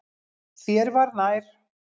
Þér var nær.